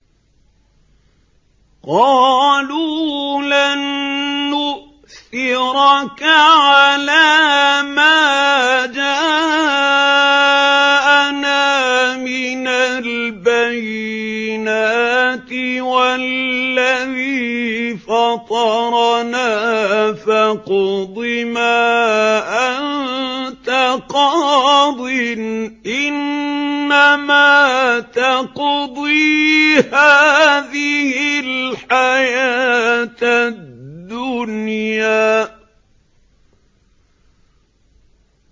قَالُوا لَن نُّؤْثِرَكَ عَلَىٰ مَا جَاءَنَا مِنَ الْبَيِّنَاتِ وَالَّذِي فَطَرَنَا ۖ فَاقْضِ مَا أَنتَ قَاضٍ ۖ إِنَّمَا تَقْضِي هَٰذِهِ الْحَيَاةَ الدُّنْيَا